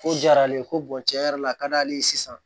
Ko diyara ale ye ko tiɲɛ yɛrɛ la a ka d'ale ye sisan